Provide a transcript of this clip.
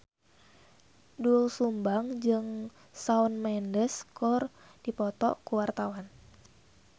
Doel Sumbang jeung Shawn Mendes keur dipoto ku wartawan